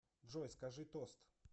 джой скажи тост